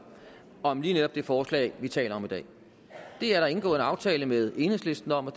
om lige netop det forslag vi taler om i dag det er der indgået en aftale med enhedslisten om og